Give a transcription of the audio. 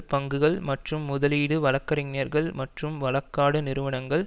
பங்குகள் மற்றும் முதலீடு வழக்கறிஞர்கள் மற்றும் வழக்காடும் நிறுவனங்கள்